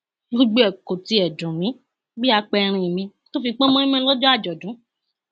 gbogbo ẹ kò tiẹ dùn mí bíi àpẹìrìn mi tó fi pọn mọínmọín lọjọ àjọdún